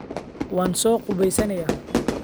waan soo qubaysanayaa